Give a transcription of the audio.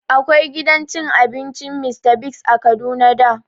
Akwai gidan cin abincin Mr Biggs a Kaduna da